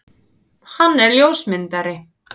Hann er ljósmyndari.